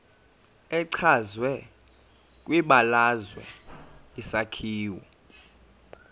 echazwe kwibalazwe isakhiwo